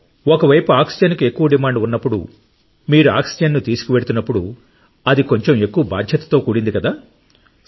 ఒక వైపు ఆక్సిజన్కు ఎక్కువ డిమాండ్ ఉన్నప్పుడు మీరు ఆక్సిజన్ను తీసుకువెళుతున్నప్పుడు అది కొంచెం ఎక్కువ బాధ్యతతో కూడింది కదా